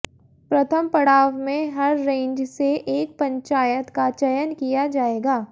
प्रथम पढ़ाव में हर रेंज से एक पंचायत का चयन किया जाएगा